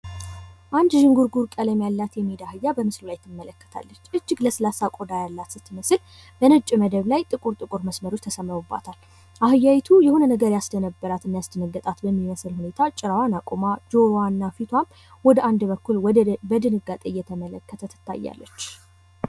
አንድ ዥንጉርጉር ቀለም ያላት የሜዳ አህያ በምስሉ ላይ ትመለከታለች። እጅግ ለስላሳ ቆዳ ያላት ስትመስል፤ በነጭ መደብ ላይጥቁር መስመሮች ተሰምረውባታል። የሆነ ነገር ያስደነገጣትና የደነበረች ትመስላለች ።